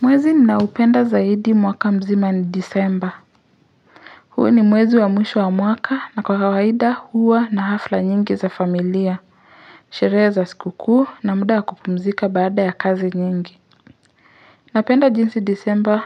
Mwezi ninoaupenda zaidi mwaka mzima ni disemba. Huu ni mwezi wa mwisho wa mwaka na kwa kawaida huwa na hafla nyingi za familia. Shereza siku kuu na muda wa kupumzika baada ya kazi nyingi. Napenda jinsi disemba